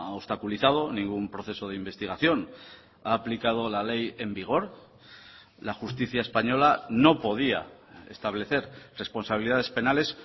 obstaculizado ningún proceso de investigación ha aplicado la ley en vigor la justicia española no podía establecer responsabilidades penales